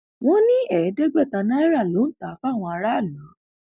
wọ́n ní ẹẹdẹgbẹta náírà ló ń tà á fáwọn aráàlú